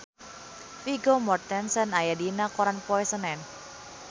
Vigo Mortensen aya dina koran poe Senen